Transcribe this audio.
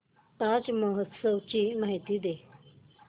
ताज महोत्सव ची माहिती दे